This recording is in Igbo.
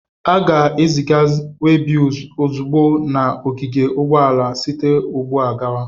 A ga-eziga webils ozugbo na ogige ụgbọala site ugbu a gawa.